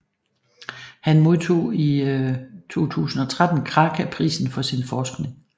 Han modtog i 2013 Kraka Prisen for sin forskning